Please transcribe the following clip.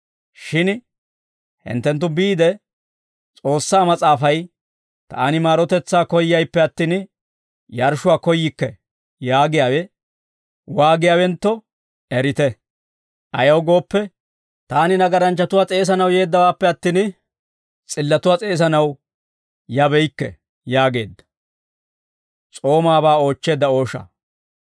Shin hinttenttu biide, S'oossaa Mas'aafay, ‹Taani maarotetsaa koyyayippe attin, yarshshuwaa koyyikke› yaagiyaawe waagiyaawentto erite; ayaw gooppe, taani nagaranchchatuwaa s'eesanaw yeeddawaappe attin, s'illatuwaa s'eesanaw yabeykke» yaageedda.